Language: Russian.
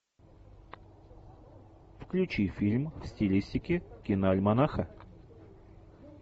включи фильм в стилистике киноальманаха